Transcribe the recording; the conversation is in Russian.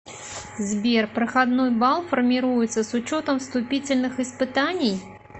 сбер проходной бал формируется с учетом вступительных испытаний